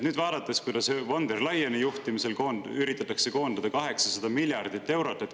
Nüüd üritatakse von der Leyeni juhtimisel 800 miljardit eurot.